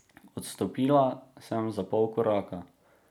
Odstopila sem za pol koraka.